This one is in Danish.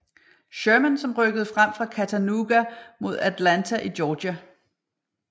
Sherman som rykkede frem fra Chattanooga mod Atlanta i Georgia